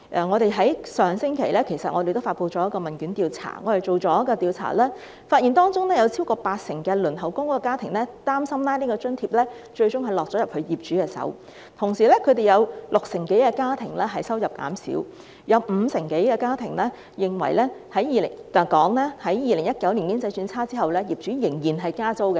我們在上星期發布了一項問卷調查，發現當中有超過八成輪候公屋的家庭擔心這項津貼最終會落入業主手中；同時，有六成多的家庭收入減少，亦有五成多家庭表示，在2019年經濟轉差後，業主仍然加租。